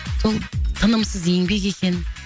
сол тынымсыз еңбек екен